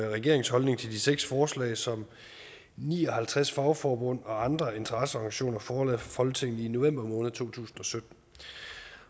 regeringens holdning til de seks forslag som ni og halvtreds fagforbund og andre interesseorganisationer forelagde for folketinget i november måned to tusind